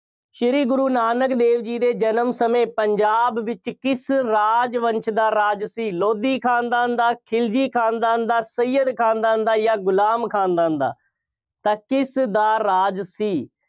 ਸ੍ਰੀ ਗੁਰੂ ਨਾਨਕ ਦੇਵ ਜੀ ਦੇ ਜਨਮ ਸਮੇਂ ਪੰਜਾਬ ਵਿੱਚ ਕਿਸ ਰਾਜ ਵੰਸ਼ ਦਾ ਰਾਜ ਸੀ। ਲੋਧੀ ਖਾਨਦਾਨ ਦਾ, ਖਿਲਜੀ ਖਾਨਦਾਨ ਦਾ, ਸਇਅਦ ਖਾਨਦਾਨ ਦਾ ਜਾਂ ਗੁਲਾਮ ਖਾਨਦਾਨ ਦਾ, ਤਾਂ ਕਿਸ ਦਾ ਰਾਜ ਸੀ।